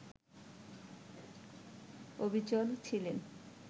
অবিচল ছিলেন